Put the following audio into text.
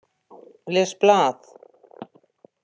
Les blað.